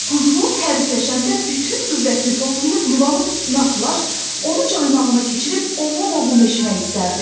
Quzğun hərisləşəndə bütün qüvvətini toplayıb yuvanın üstünə atılar, onu caynağına keçirib ovum-ovum eşmək istərdi.